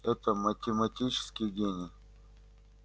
это математический гений